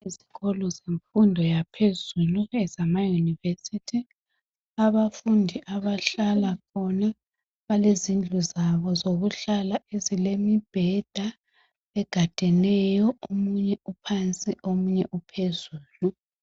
Isikolo semfundo yaphezulu ezama University. Abafundi abahlala khona balezindlu zabo ezokuhlala ezilemibheda egadeneyo omunye uphansi omunye uphezulu.